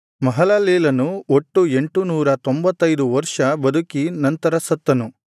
ಮಹಲಲೇಲನು ಒಟ್ಟು ಎಂಟುನೂರ ತೊಂಭತ್ತೈದು ವರ್ಷ ಬದುಕಿ ನಂತರ ಸತ್ತನು